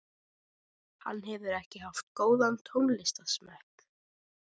Hann hefur ekki haft góðan tónlistarsmekk